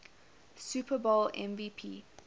super bowl mvp